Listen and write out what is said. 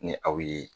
Ni aw ye